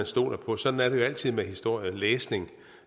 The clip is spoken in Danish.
stoler på sådan er det jo altid med historielæsning